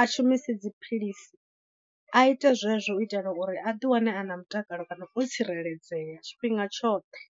a shumise dziphilisi, a ite zwezwo u itela uri a ḓiwane a na mutakalo kana o tsireledzea tshifhinga tshoṱhe.